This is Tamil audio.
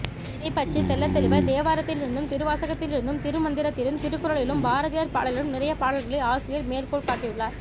இதைப்பற்றி தெள்ள தெளிவாய் தேவாரத்திலிருந்தும் திருவாசகத்திலிருந்தும் திருமந்திரத்திலும் திருக்குறளிலும் பாரதியார் பாடலிலும் நிறைய பாடல்களை ஆசிரியர் மேற்கோள்காட்டியுள்ளார்